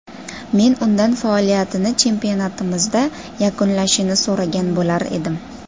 Men undan faoliyatini chempionatimizda yakunlashini so‘ragan bo‘lardim.